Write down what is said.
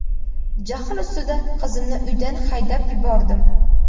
Jahl ustida qizimni uydan haydab yubordim.